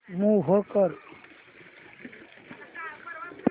move कर